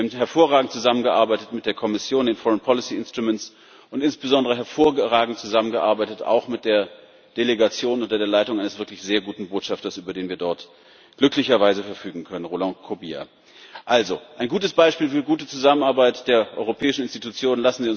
Wir haben hervorragend zusammengearbeitet mit der Kommission, den außenpolitischen Instrumenten und insbesondere auch hervorragend zusammengearbeitet mit der Delegation unter der Leitung eines wirklich sehr guten Botschafters, über den wir dort glücklicherweise verfügen können, Roland Kobia. Also ein gutes Beispiel für gute Zusammenarbeit der europäischen Institutionen.